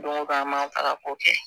an m'a ta ka kɛ